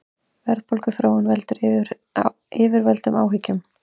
Verðbólguþróunin veldur yfirvöldum áhyggjum